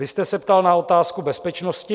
Vy jste se ptal na otázku bezpečnosti.